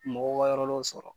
Mɔgɔw ka yɔrɔ dɔw sɔrɔ.